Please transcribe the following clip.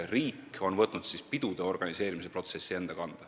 Riik on võtnud enda kanda pidude organiseerimise protsessi.